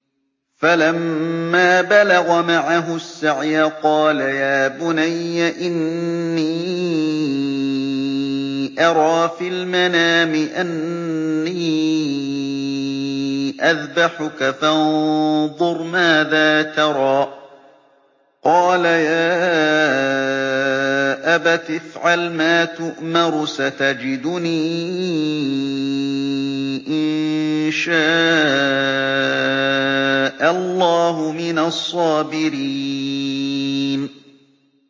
فَلَمَّا بَلَغَ مَعَهُ السَّعْيَ قَالَ يَا بُنَيَّ إِنِّي أَرَىٰ فِي الْمَنَامِ أَنِّي أَذْبَحُكَ فَانظُرْ مَاذَا تَرَىٰ ۚ قَالَ يَا أَبَتِ افْعَلْ مَا تُؤْمَرُ ۖ سَتَجِدُنِي إِن شَاءَ اللَّهُ مِنَ الصَّابِرِينَ